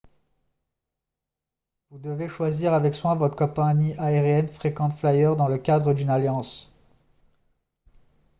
vous devez choisir avec soin votre compagnie aérienne frequent flyer dans le cadre d'une alliance